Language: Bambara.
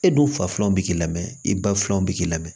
E dun faflanw bɛ k'i la mɛ i ba filaw bɛ k'i la mɛ